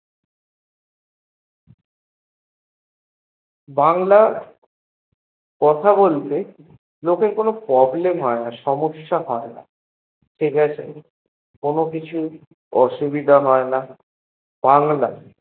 বাংলা কথা বলতে লোকের কোনো Problem হোয়েনা, সমসসা হোয়েনা ঠিকাছে কোনো কিছু অসুবিধা হোয়েনা বাংলা